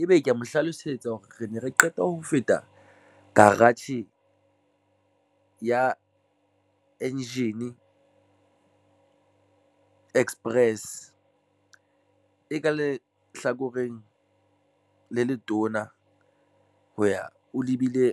ebe ke ya mo hlalosetsa hore re ne re qeta ho feta garage ya Engine Express e ka le hlakoreng le letona ho ya o lebile.